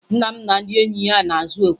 Nna m na ndị enyi ya na-azụ okwe